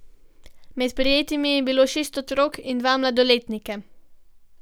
Med prijetimi je bilo šest otrok in dva mladoletnika.